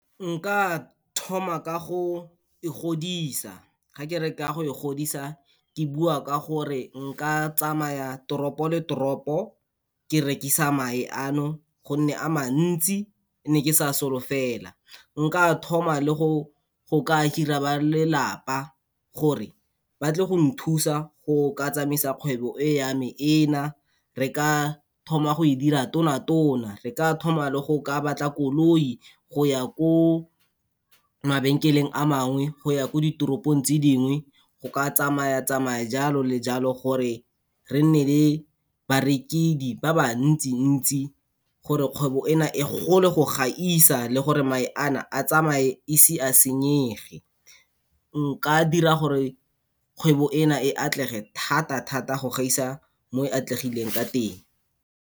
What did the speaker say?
Nka thoma ka go e godisa, ga ke re ka go e godisa ke bua ka gore, nka tsamaya toropo le toropo ke rekisa mae ano gonne a mantsi, ne ke sa solofela. Nka thoma le go go ka hire-a ba lelapa gore ba tle go nthusa go ka tsamaisa kgwebo e ya me ena, re ka thoma go e dira tona-tona, re ka thoma le go ka batla koloi, go ya ko mabenkeleng a mangwe, go ya ko ditoropong tse dingwe, go ka tsamaya tsamaya, jalo le jalo, gore re nne le barekedi ba ba ntsi-ntsi gore kgwebo ena e gole go gaisa le gore mae ana a tsamaye e se a senyege. Nka dira gore kgwebo ena e atlege thata-thata go gaisa mo e atlegileng ka teng.